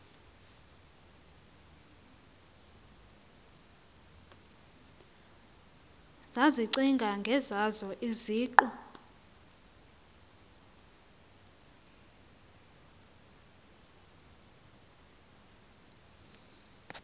zazicinga ngezazo iziqu